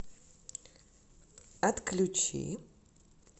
отключи